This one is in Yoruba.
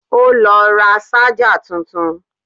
O ló ra ṣájà tuntun.